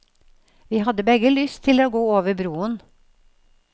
Vi hadde begge lyst til å gå over broen.